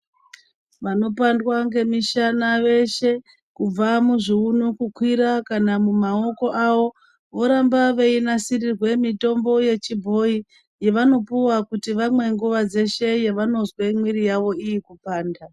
Vanopandwa ngemishana veshe kubva muzvuunu kukwira kana mumaoko avo. Voramba veinasirirwe mitombo yechibhoi yavanopuva kuti vamwe nguva dzeshe pavanozwe mwiri yavo irikupanda.